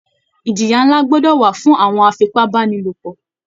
Ìjìyà ńlá gbọdọ̀ wà fún àwọn afipábánilòpọ̀